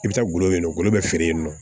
I bɛ taa gulɔ bɛ ngolo bɛ feere yen nɔ